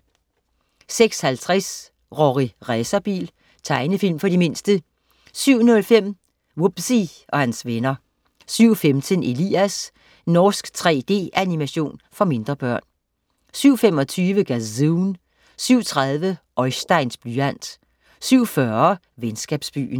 06.50 Rorri Racerbil. Tegnefilm for de mindste 07.05 Wubbzy og hans venner 07.15 Elias. Norsk 3D-animation for mindre børn 07.25 Gazoon 07.30 Oisteins blyant 07.40 Venskabsbyen